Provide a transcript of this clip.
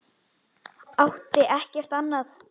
Átti ekkert annað.